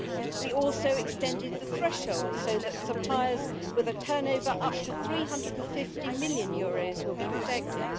We also extended the threshold so that suppliers with a turnover of up to EUR 350 million will be protected.